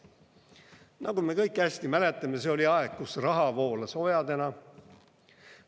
Nagu me kõik hästi mäletame, see oli aeg, kus raha voolas ojadena.